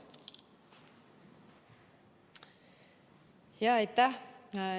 Jaa, aitäh!